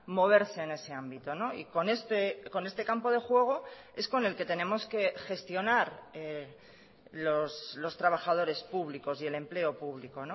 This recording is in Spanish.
moverse en ese ámbito y con este campo de juego es con el que tenemos que gestionar los trabajadores públicos y el empleo público